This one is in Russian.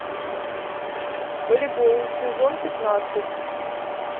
волейбол сезон пятнадцать